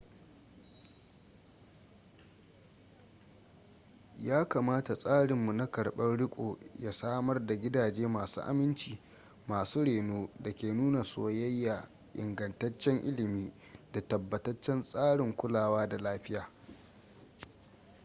ya kamata tsarinmu na karɓar riko ya samar da gidaje masu aminci masu reno da ke nuna soyayya ingantaccen ilimi da tabbataccen tsarin kulawa da lafiya